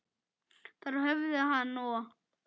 Þar höfðu hann og